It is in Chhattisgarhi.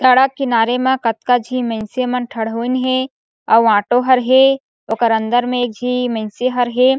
सड़क किनारे म कतका झी मइनसे मन ठठोइन हे अउ ऑटो हर हे अउ ओकर अंदर में एक झी मइनसे हर हे।